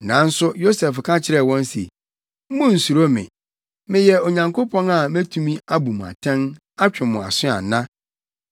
Nanso Yosef ka kyerɛɛ wɔn se, “Munnsuro me! Meyɛ Onyankopɔn a metumi abu mo atɛn, atwe mo aso ana?